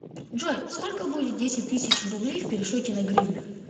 джой сколько будет десять тысяч рублей в пересчете на гривны